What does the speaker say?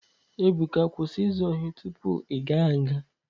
Ebuka kwụsị izu ohi tupuu igaa nga!